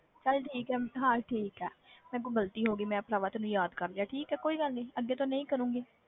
ਚੱਲ ਠੀਕ ਹੈ, ਹਾਂ ਠੀਕ ਹੈ ਮੇਰੇ ਕੋਲੋਂ ਗ਼ਲਤੀ ਹੋ ਗਈ ਮੈਂ ਭਰਾਵਾ ਤੈਨੂੰ ਯਾਦ ਕਰ ਲਿਆ, ਠੀਕ ਹੈ ਕੋਈ ਗੱਲ ਨੀ ਅੱਗੇ ਤੋਂ ਨਹੀਂ ਕਰਾਂਗੀ।